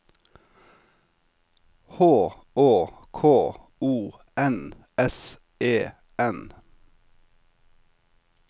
H Å K O N S E N